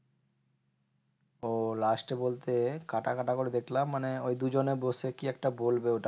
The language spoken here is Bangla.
ও last এ বলতে, কাটা কাটা করে দেখলাম। মানে ওই দুজনে বসে কি একটা বলবে?